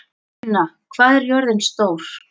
Una, hvað er jörðin stór?